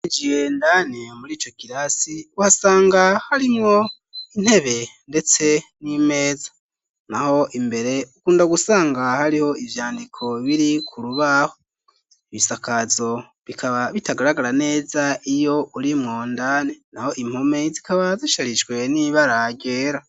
Jiye ndane muri ico kirasi uhasanga harimwo intebe, ndetse n'imeza na ho imbere ukunda gusanga hariho ivyandiko biri ku rubaho ibisakazo bikaba bitagaragara neza iyo urimwondane na ho impome zikaba zisharishwe n'ibaragera.